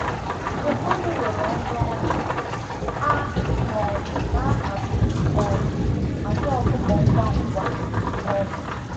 Mgbe mmadụ rọrọ nrọ ọnwụ, a um na-ahazi um àjà ọkụkọ ngwa ngwa. um